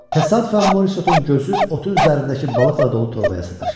Təsadüfən Morisotun gözü otun üzərindəki balıqla dolu torbaya sataşdı.